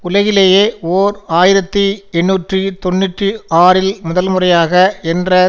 உலகிலேயே ஓர் ஆயிரத்தி எண்ணூற்று தொன்னூற்றி ஆறில் முதல்முறையாக என்ற